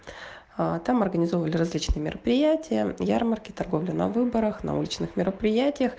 аа там организовывали различные мероприятия ярмарки торговля на выборах на уличных мероприятиях